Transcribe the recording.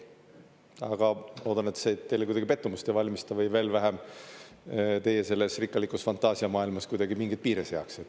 Aga loodan, et see teile kuidagi pettumust ei valmista, või veel vähem, teile selles rikkalikus fantaasiamaailmas kuidagi mingeid piire ei seaks.